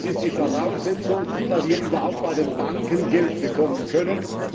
das ist die Voraussetzung, dass sie überhaupt bei den Banken Geld bekommen können.